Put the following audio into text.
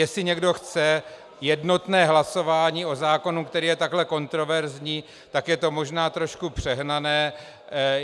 Jestli někdo chce jednotné hlasování o zákonu, který je takhle kontroverzní, tak je to možná trošku přehnané.